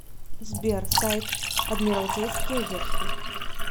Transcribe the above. сбер сайт адмиралтейские верфи